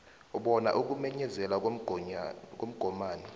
bona ukumenyezelwa komgomani